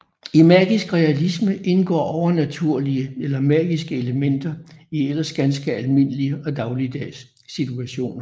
I magisk realisme indgår overnaturlige eller magiske elementer i ellers ganske almindelige og dagligdags situationer